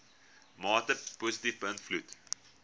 mate positief beïnvloed